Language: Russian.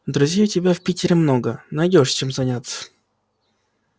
друзей у тебя в питере много найдёшь чем заняться